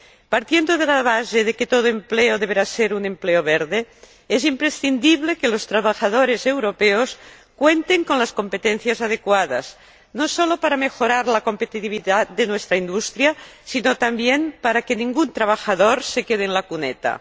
Partiendo de la base de que todo empleo deberá ser un empleo verde, es imprescindible que los trabajadores europeos cuenten con las competencias adecuadas, no solo para mejorar la competitividad de nuestra industria, sino también para que ningún trabajador se quede en la cuneta.